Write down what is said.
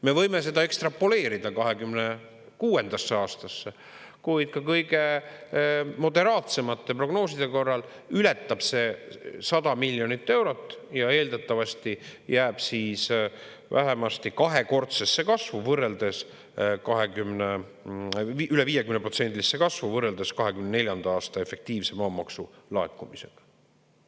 Me võime ekstrapoleerida 2026. aastasse, kuid ka kõige moderaatsemate prognooside korral ületab see 100 miljonit eurot ja eeldatavasti jääb siis vähemasti kahekordsesse, üle 50%-lisse kasvu võrreldes 2024. aasta efektiivse maamaksu laekumisega.